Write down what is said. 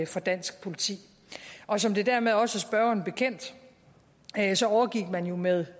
for dansk politi og som det dermed også er spørgeren bekendt overgik man jo med